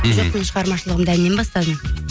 мхм жоқ мен шығармашылығымды әннен бастадым